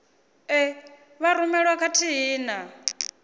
e vha rumelwa khathihi na